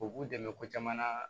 U b'u dɛmɛ ko caman na